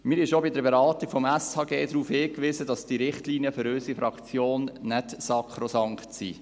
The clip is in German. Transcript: Wir haben schon bei der Beratung des SHG darauf hingewiesen, dass diese Richtlinien für unsere Fraktion nicht sakrosankt sind.